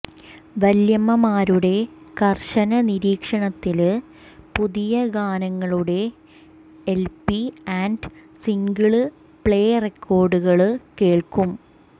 വല്ല്യമ്മമാരുടെ കര്ശന നിരീക്ഷണത്തില് പുതിയഗാനങ്ങളുടെ എല്പി ആന്റ് സിംഗിള് പ്ളേ റെക്കോഡുകള് കേള്ക്കും